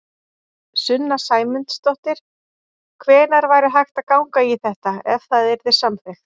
Sunna Sæmundsdóttir: Hvenær væri hægt að ganga í þetta, ef það yrði samþykkt?